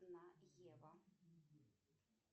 на ева